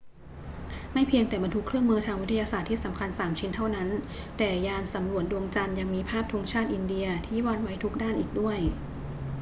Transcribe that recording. ไม่เพียงแต่บรรทุกเครื่องมือทางวิทยาศาสตร์ที่สำคัญสามชิ้นเท่านั้น แต่ยานสำรวจดวงจันทร์ยังมีภาพธงชาติอินเดียที่วาดไว้ทุกด้านอีกด้วย